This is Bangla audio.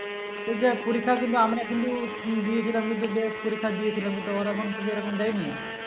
তো যাই হোক পরীক্ষা কিন্তু আমরা কিন্তু দিয়ে দিলাম বেশ পরীক্ষা দিয়েছিলাম কিন্তু ওরা এখন তো যেরকম দেয় নি